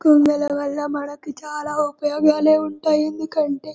కొండల వాళ్ళ మనకు చాల ఉపయోగాలు ఉంటాయి ఎందుకంటే --